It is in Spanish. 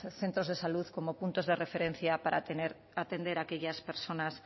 centros de salud como puntos de referencia para atender a aquellas personas